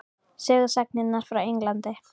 Sögusagnirnar frá Englandi?